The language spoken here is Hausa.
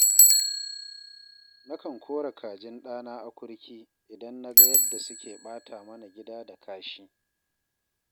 Na kan kora kajin ɗana akurki idan na ga yadda suke ɓata mana gida da kashi